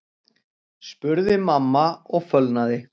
spurði mamma og fölnaði.